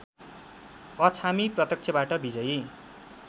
अछामी प्रत्यक्षबाट विजयी